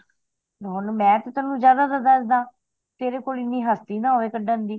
ਹੁਣ ਮੈਂ ਤੈਨੂੰ ਜ਼ਿਆਦਾ ਦਾ ਦੱਸ ਦਾ ਤੇਰੇ ਕੋਲ ਹਸਤੀ ਨਾ ਹੋਵੇ ਕੱਢਣ ਦੀ